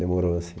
Demorou, assim.